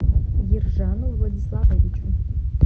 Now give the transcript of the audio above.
ержану владиславовичу